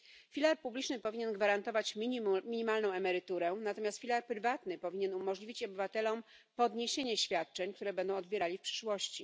Filar publiczny powinien gwarantować minimalną emeryturę, natomiast filar prywatny powinien umożliwić obywatelom podniesienie świadczeń, które będą odbierali przyszłości.